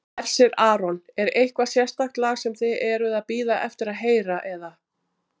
Hersir Aron: Er eitthvað sérstakt lag sem þið eruð að bíða eftir að heyra eða?